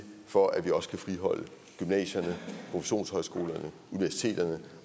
for at vi også kan friholde gymnasierne produktionshøjskolerne universiteterne